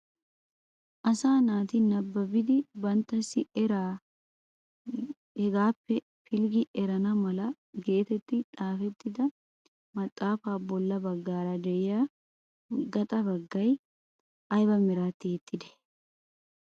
Asaa naati nababidi banttasi eraa hegaappe pilggi erana mala getetti xaafettida maxaafaa bolla baggara de'iyaa gaaxa baggay aybe meran tiyettidee?